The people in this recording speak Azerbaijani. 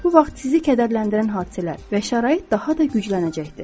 Bu vaxt sizi kədərləndirən hadisələr və şərait daha da güclənəcəkdir.